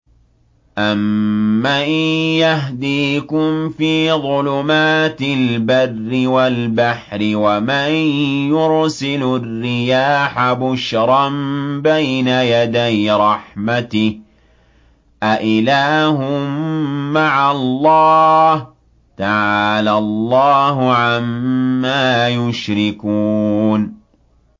أَمَّن يَهْدِيكُمْ فِي ظُلُمَاتِ الْبَرِّ وَالْبَحْرِ وَمَن يُرْسِلُ الرِّيَاحَ بُشْرًا بَيْنَ يَدَيْ رَحْمَتِهِ ۗ أَإِلَٰهٌ مَّعَ اللَّهِ ۚ تَعَالَى اللَّهُ عَمَّا يُشْرِكُونَ